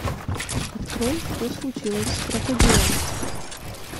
открой что случилось с крокодилом